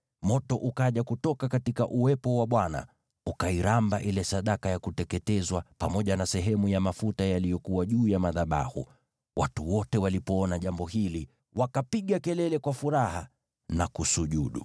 Moto ukaja kutoka uwepo wa Bwana , ukairamba ile sadaka ya kuteketezwa, pamoja na sehemu ya mafuta yaliyokuwa juu ya madhabahu. Watu wote walipoona jambo hili, wakapiga kelele kwa furaha na kusujudu.